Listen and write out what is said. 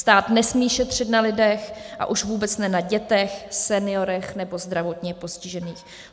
Stát nesmí šetřit na lidech a už vůbec ne na dětech, seniorech nebo zdravotně postižených.